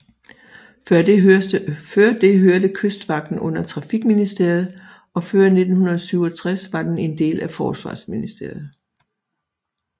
Før det hørte kystvagten under trafikministeriet og før 1967 var den en del af forsvarsministeriet